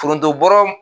Foronto bɔrɔ